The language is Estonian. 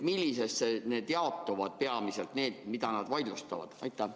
Kuidas need peamiselt jaotuvad?